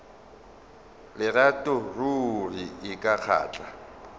lerato ruri e ka kgahla